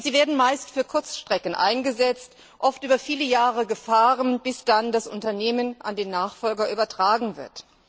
Und sie werden meist für Kurzstrecken eingesetzt, oft über viele Jahre gefahren, bis dann das Unternehmen an den Nachfolger übertragen wird.